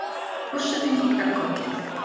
Forsetinn kinkar kolli.